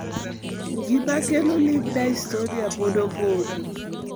Gima kelo limb dystonia pod opondo.